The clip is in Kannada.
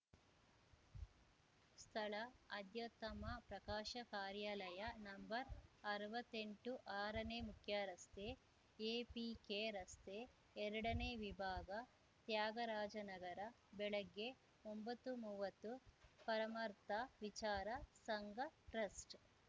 ಸ್ಥಳ ಅಧ್ಯಾತ್ತಮ ಪ್ರಕಾಶ ಕಾರ್ಯಾಲಯ ನಂಬರ್ಅರ್ವತ್ತೆಂಟು ಆರನೇ ಮುಖ್ಯರಸ್ತೆ ಎಪಿಕೆ ರಸ್ತೆ ಎರಡನೇ ವಿಭಾಗ ತ್ಯಾಗರಾಜನಗರ ಬೆಳಗ್ಗೆ ಒಂಬತ್ತುಮೂವತ್ತ ಪರಮಾರ್ಥ ವಿಚಾರ ಸಂಘ ಟ್ರಸ್ಟ್‌